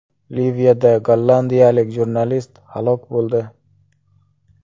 Liviyada gollandiyalik jurnalist halok bo‘ldi.